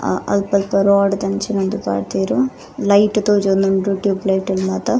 ಅ ಅಲ್ಪಲ್ಪ ರೋಡ್ ದಂಚಿನ ಒಂಜಿ ಪಾಡ್ದೆರ್ ಲೈಟ್ ತೋಜೊಂದುಂಡು ಟ್ಯೂಬ್ ಲೈಟ್ ಲ್ ಮಾತ.